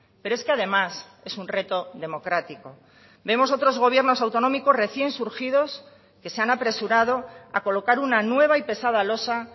pero es que además es un reto democrático vemos otros gobiernos autonómicos recién surgidos que se han apresurado a colocar una nueva y pesada losa